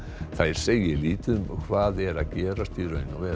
þær segi lítið um hvað er að gerast í raun og veru